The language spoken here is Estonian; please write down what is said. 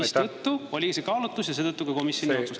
Seetõttu oli see kaalutlus ja seetõttu ka komisjon nii otsustas.